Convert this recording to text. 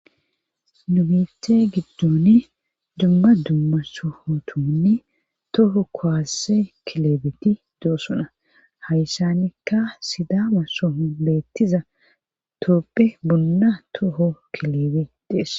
Nubithe giddoni dumba dumma sohotumanne toho kowasse kilebeti doosona hayssanikka sidama soohon beettiza toopphe bunna toho kilebe deess